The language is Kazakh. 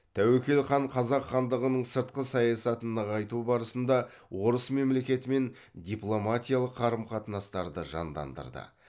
тәуекел хан қазақ хандығының сыртқы саясатын нығайту барысында орыс мемлекетімен дипломатиялық қарым қатынастарды жандандырды